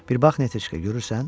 Bir bax, Netiçka, görürsən?